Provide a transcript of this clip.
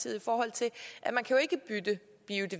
tak det